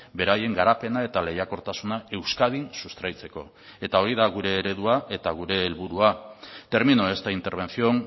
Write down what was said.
beraien garapena eta lehiakortasuna euskadin sustraitzeko eta hori da gure eredua eta gure helburua termino esta intervención